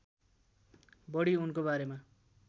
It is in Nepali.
बढी उनको बारेमा